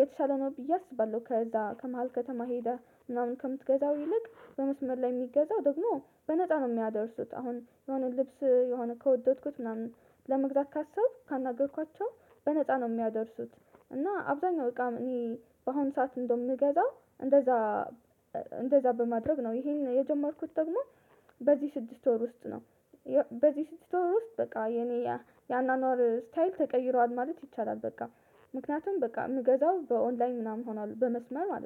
የተሻለ ነው ብዬ አስባለሁ ከዛ ከመሃል ከተማ ሄደህ ምናምን ከምትገዛው ይልቅ በመስመር ላይ የሚገዛው ደግሞ በነፃ ነው የሚያደርሱት አሁን የሆነ ልብስ የሆነ ከወደድኩት ምናምን ለመግዛት ካሰብኩ ካናገርኳቸው በነፃ ነው የሚያደርሱት። እና አብዛኛው እቃ እኔ በአሁን ሰዓት እንደዉም እምገዛው እንደዛ እንደዛ በማድረግ ነው ይሄን የጀመርኩት ደግሞ በዚህ ስድስት ወር ውስጥ ነው በዚህ ስድስት ወር ውስጥ በቃ የኔ የአኗኗር ስታይል ተቀይሯል ማለት ይቻላል። በቃ ምክንያቱም በቃ የምገዛው በኦንላይን ምናምን ሆኗል በመስመር ማለት ነው